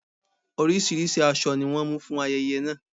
Orísìírísìí aṣọ ni wọ́n mú fún ayẹyẹ náà.